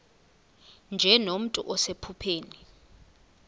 nje nomntu osephupheni